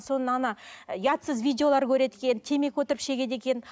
соны ана ұятсыз видеолар көреді екен темекі отырып шегеді екен